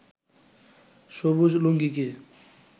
সবুজ লুঙ্গিকে